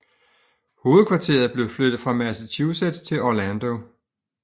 Hovedkvarteret blev flyttet fra Massachusetts til Orlando